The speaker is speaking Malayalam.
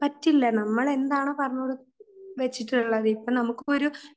പറ്റില്ല നമ്മൾ എന്താണോ പറഞ്ഞുവെച്ചിട്ടുള്ളത്, ഇപ്പോൾ നമുക്കൊരു